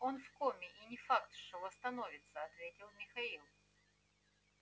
он в коме и не факт что восстановится ответил михаил